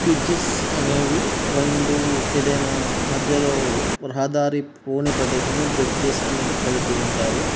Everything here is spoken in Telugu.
బ్రిడ్జెస్ అనేవి రెండు ఏదైనా మధ్యలో రహదారి పోనీ ప్రదేశం లో బ్రిడ్జెస్ అనేటివి కడుతుంటారు.